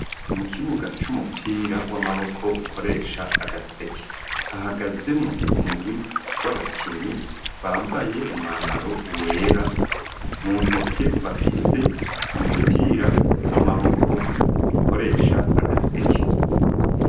Mukibuga c'umupira w'amaboko ukoresha agaseke hahagazemo umugwi w'abakinyi bambaye umwambaro wera mu ntoke bafise umupira w'amaboko ukoresha agaseke.